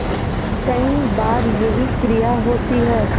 कई बार यही क्रिया होती है